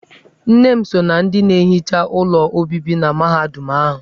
Nne m so ná ndị na-ehicha ụlọ obibi na mahadum ahụ.